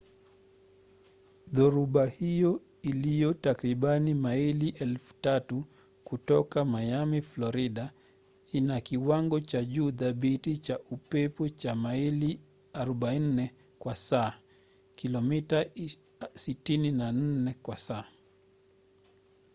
dhoruba hiyo iliyo takribani maili 3,000 kutoka miami florida ina kiwango cha juu thabiti cha upepo cha maili 40 kwa saa kilomita 64 kwa saa